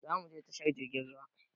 Zamuje tashar jirgin ruwa